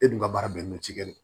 E dun ka baara bɛnnen don cikɛ ma